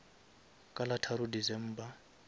ka la tharo december